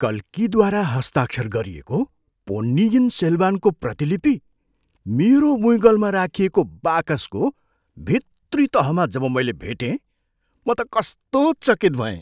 कल्कीद्वारा हस्ताक्षर गरिएको पोन्नियिन सेल्वानको प्रतिलिपि मेरो बुइँगलमा राखिएको बाकसको भित्री तहमा जब मैले भेटेँ म त कस्तो चकित भएँ।